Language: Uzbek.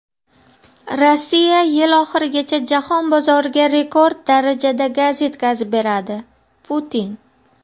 Rossiya yil oxirigacha jahon bozoriga rekord darajada gaz yetkazib beradi – Putin.